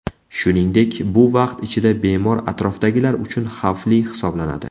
Shuningdek, bu vaqt ichida bemor atrofdagilar uchun xavfli hisoblanadi.